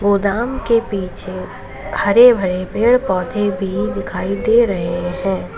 गोदाम के पीछे हरे भरे पेड़ पौधे भी दिखाई दे रहे हैं।